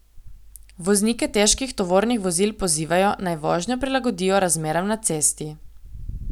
Voznike težkih tovornih vozil pozivajo, naj vožnjo prilagodijo razmeram na cesti.